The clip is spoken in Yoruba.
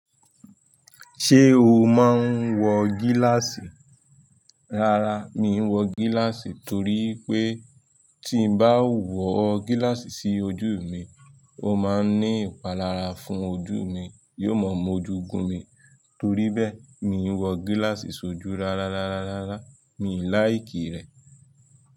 Ṣé o máa ń wọ gíláàsì? Rárá, mi n wọ gíláàsì torí pé tí n bá wọ gíláàsì sí ojú mi, ó máa ń ní ìpalára fún ojú mi, yóò máa m'ojú gùn mi. Torí bẹ́ẹ̀, mi ò wọ gíláàsì sójú rárárárárárá. Mi ò láì kìí rẹ̀.